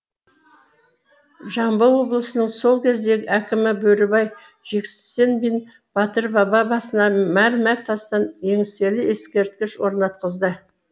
жамбыл облысының сол кездегі әкімі бөрібай жексенбин батыр баба басына мәрмәр тастан еңселі ескерткіш орнатқызды